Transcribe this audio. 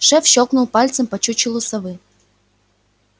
шеф щёлкнул пальцем по чучелу совы